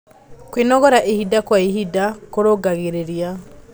Kwĩnogora ĩhĩda kwa ĩhĩda kũrũngagĩrĩrĩa